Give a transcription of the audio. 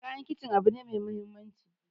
Kayan kicin abu ne mai muhimmanci